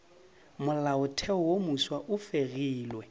molaotheo wo mofsa e fegilwe